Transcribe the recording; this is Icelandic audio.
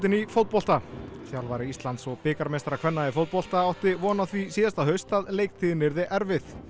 í fótbolta þjálfari Íslands og bikarmeistara kvenna í fótbolta átti von á því síðasta haust að leiktíðin yrði erfið